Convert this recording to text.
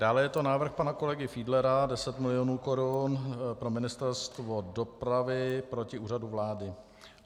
Dále je to návrh pana kolegy Fiedlera, 10 milionů korun pro Ministerstvo dopravy proti Úřadu vlády.